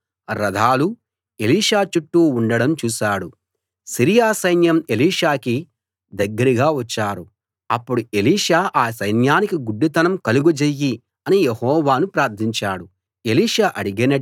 Syria సైన్యం ఎలీషాకి దగ్గరగా వచ్చారు అప్పుడు ఎలీషా ఈ సైన్యానికి గుడ్డితనం కలుగజెయ్యి అని యెహోవాను ప్రార్థించాడు ఎలీషా అడిగినట్టే యెహోవా వాళ్లకు గుడ్డితనం కలుగజేశాడు